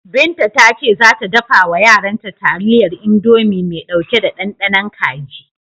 Binta ta ce za ta dafa wa yaranta taliyar Indomi mai ɗauke da ɗanɗanon kaji.